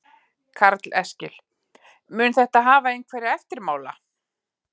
Karl Eskil: Mun þetta hafa einhverja eftirmála?